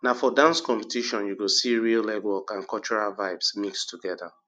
na for dance competition you go see real legwork and cultural vibes mix together